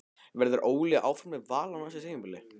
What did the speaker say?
Verður Óli áfram með Val á næsta tímabili?